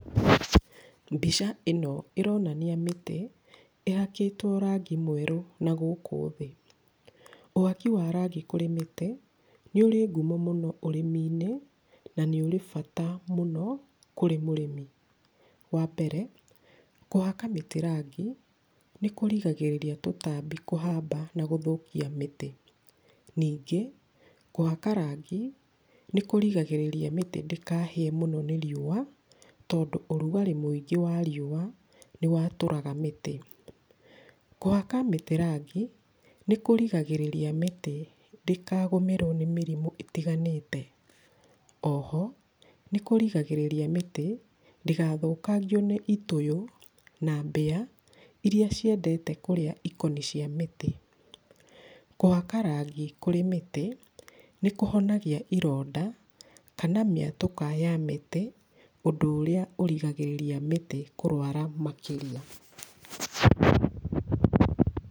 Mbica ĩno ĩronania mĩtĩ ĩhakĩtwo rangi mwerũ na gũkũ thĩ. Ũhaki wa rangi kũrĩ mĩtĩ nĩ ũrĩ ngumo mũno ũrĩmi-inĩ, na nĩ ũrĩ bata mũno kũrĩ mũrĩmi. Wa mbere, kũhaka mĩtĩ rangi nĩ kũrigagĩrĩria tũtambi kũhamba na gũthũkia mĩtĩ. Ningĩ, kũhaka rangi nĩ kũrigagĩrĩria mĩtĩ ndĩkahie mũno nĩ riũa tondũ ũrugarĩ mũingĩ wa riũwa nĩwatũraga mĩtĩ. Kũhaka mĩtĩ rangi nĩkũrigagĩrĩria mĩtĩ ndĩkagũmĩrwo nĩ mĩrimũ ĩtiganĩte. Oho, nĩ kũrigagĩrĩria mĩtĩ ndĩgathukangio nĩ itũyũ na mbĩa, iria ciendete kũrĩa ikoni cia mĩtĩ. Kũhaka rangi kũrĩ mĩtĩ, nĩkũhonagia ironda kana mĩatũka ya mĩtĩ, ũndũ ũrĩa ũrigagĩrĩria mĩtĩ kũrwara makĩria.